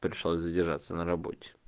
пришлось задержаться на работе